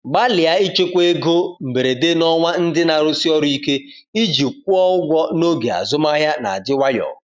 Gbalịa ichekwa ego mberede n’ọnwa ndị na-arụsi ọrụ ike iji kwụọ ụgwọ n’oge azụmahịa na-adị nwayọ.